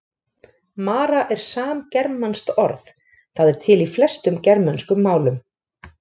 Mara er samgermanskt orð, það er til í flestum germönskum málum.